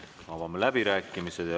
Avame läbirääkimised.